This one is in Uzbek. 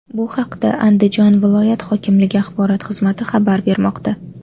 Bu haqda Andijon viloyat hokimligi axborot xizmati xabar bermoqda .